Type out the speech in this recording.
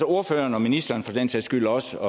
ordføreren og ministeren for den sags skyld og også